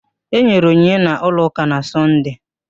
Enyere onyinye n'ụlọ ụka na Sọnde